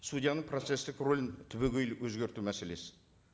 судьяның процесстік рөлін түбегейлі өзгерту мәселесі